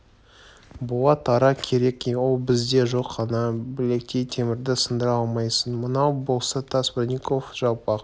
болат ара керек ол бізде жоқ ана білектей темірді сындыра алмайсың мынау болса тас бронников жалпақ